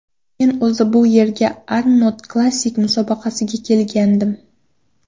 Men o‘zi bu yerga Arnold Classic musobaqasiga kelgandim.